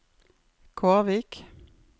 Kårvik